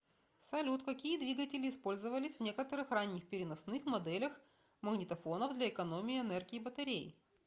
салют какие двигатели использовались в некоторых ранних переносных моделях магнитофонов для экономии энергии батарей